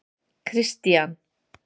Kristian